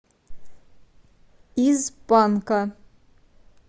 из панка